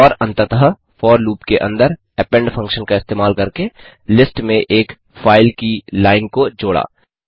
और अंततः for loop के अंदर अपेंड फंक्शन का इस्तेमाल करके लिस्ट में एक फाइल की लाइन को जोड़ा